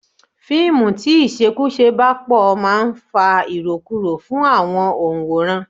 Fíìmù tí ìṣekúṣe bá pò máa ń fa irokuro fún àwọn onworan.